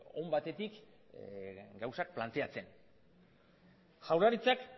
on batetik gauzak planteatzen jaurlaritzak